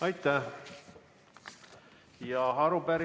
Aitäh!